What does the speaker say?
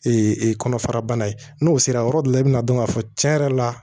kɔnɔfara bana ye n'o sera yɔrɔ dɔ la i bɛ na dɔn k'a fɔ tiɲɛ yɛrɛ la